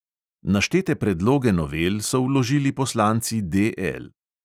Naštete predloge novel so vložili poslanci DL.